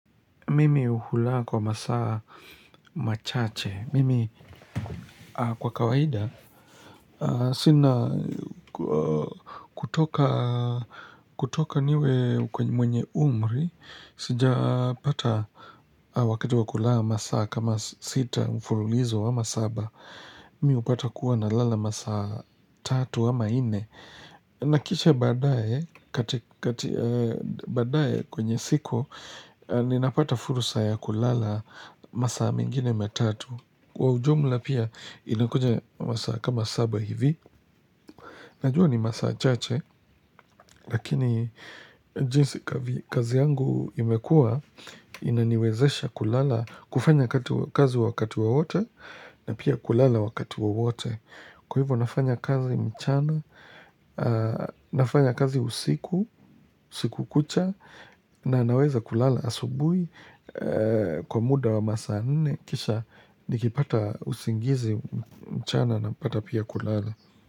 Mimi hula kwa masaa machache. Mimi kwa kawaida. Sina kutoka kutoka niwe mwenye umri. Sijapata wakati wa kula masaa kama sita mfululizo ama saba. Mimi hupata kuwa nalala masaa tatu ama nne. Na kisha baadaye kwenye siku Ninapata fursa ya kulala masaa mengine matatu. Kwa ujumla pia inakuja masaa kama saba hivi Najua ni masaa chache Lakini jinsi kazi yangu imekua Inaniwezesha kulala kufanya kazi wakati wowote na pia kulala wakati wowote. Kwa hivyo nafanya kazi mchana, nafanya kazi usiku usiku kucha na naweza kulala asubui kwa muda wa masaa nne kisha nikipata usingizi mchana napata pia kulala.